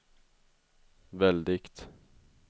väldigt